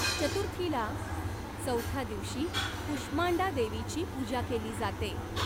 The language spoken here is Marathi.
चतुर्थीला चौथ्या दिवशी कुष्मांडा देवीची पूजा केली जाते.